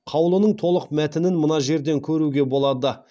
қаулының толық мәтінін мына жерден көруге болады